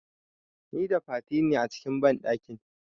Nida Fati ne a cikin banɗakin.